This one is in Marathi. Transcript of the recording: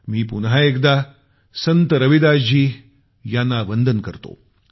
मी पुन्हा एकदा संत रविदासजी यांना वंदन करतो